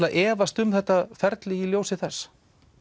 að efast um þetta ferli í ljósi þess